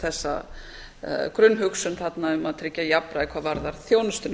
þessa grunnhugsun þarna um að tryggja jafnræði hvað varðar þjónustuna